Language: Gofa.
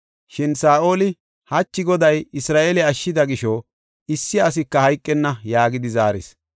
Shin Saa7oli, “Hachi Goday Isra7eele ashshida gisho issi asika hayqenna” yaagidi zaaris.